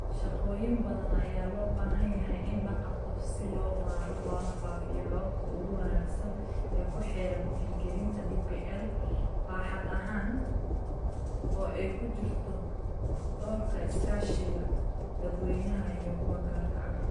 Shaqooyin badan ayaa loo baahan yahay in la qabto si loo baaro loona faafiyo hababka ugu wanaagsan ee ku xeeran hirgelinta DPL baaxad ahaan, oo ay ku jirto doorka iskaashiga dadweynaha iyo kuwa gaarka ah.